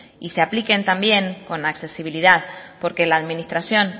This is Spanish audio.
y se apliquen también con accesibilidad porque la administración